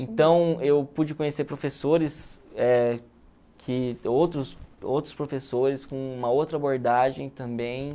Então, eu pude conhecer professores, eh que outros outros professores com uma outra abordagem também.